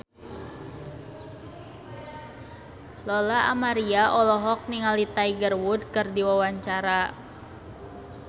Lola Amaria olohok ningali Tiger Wood keur diwawancara